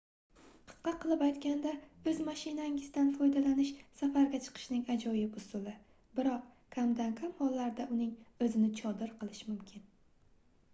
qisqa qilib aytganda oʻz mashinangizdan foydalanish safarga chiqishning ajoyib usuli biroq kamdan-kam hollarda uning oʻzini chodir qilish mumkin